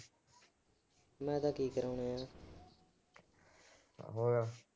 ਮੈਂ ਤਾਂ ਕੀ ਕਰਾਉਣੇ ਆ।